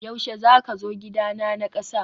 yaushe zaka zo gidana na kasa?